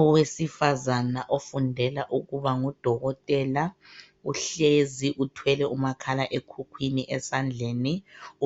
Owesifazana ofundela ukubangudokotela uhlezi uthwele umakhalekhukhwini esandleni.